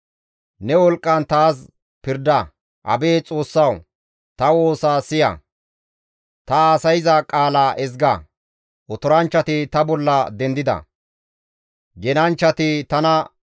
Otoranchchati ta bolla dendida; genanchchati tana wodhanaas koyeettes. Xoossaa wudu geettenna.